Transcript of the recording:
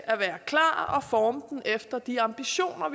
at være klar og forme den efter de ambitioner